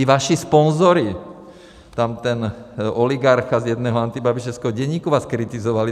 I vaši sponzoři, tam ten oligarcha z jednoho antibabišovského deníku vás kritizovali.